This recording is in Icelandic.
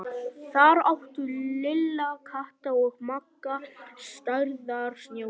Þar áttu Lilla, Kata og Magga stærðar snjóhús.